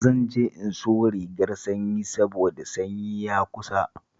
Zan je in sayo rigar sanyi saboda sanyi ya kusa